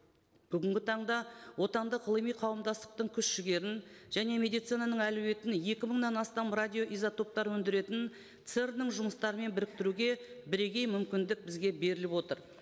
бүгінгі таңда отандық ғылыми қауымдастықтың күш жігерін және медицинаның әлеуетін екі мыңнан астам радиоизотоптар өндіретін церн ның жұмыстарымен біріктіруге бірегей мүмкіндік бізге беріліп отыр